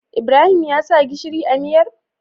Ibrahim ya sa gishiri a miyar?